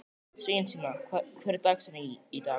Sveinsína, hver er dagsetningin í dag?